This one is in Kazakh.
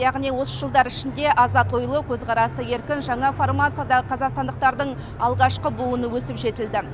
яғни осы жылдар ішінде азат ойлы көзқарасы еркін жаңа формациядағы қазақстандықтардың алғашқы буыны өсіп жетілді